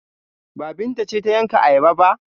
Ba, Binta ce ta yanka ayaba ba?